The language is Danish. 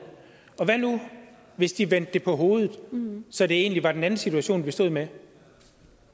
og hvad nu hvis de vendte det på hovedet så det egentlig var den anden situation vi stod med